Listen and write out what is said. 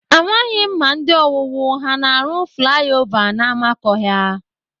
Amaghị m ma ndị owuwu ha na-arụ flaya ova n'amakọhịa.